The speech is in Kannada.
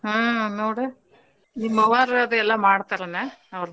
ಹ್ಮ್ ನೋಡ ನಿಮ್ ಅವ್ವಾರ ಅದ ಎಲ್ಲಾ ಮಾಡ್ತಾರ ಏನ ಅವರ್ದ.